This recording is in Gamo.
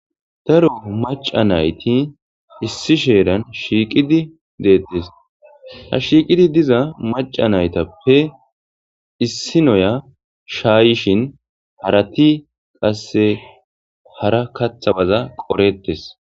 Daro maca nayti issi sheeran shiiqidi deettes ha shiiqidi diza maca naytappe issi noya shaayishin harati qasse hara kathabaza qoretes